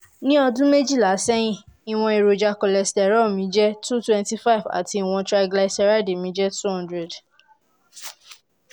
ní ọdún méjìlá sẹ́yìn ìwọ̀n èròjà cholesterol mi jẹ́ two hundred twenty five àti ìwọ̀n triglyceride mi jẹ́ two hundred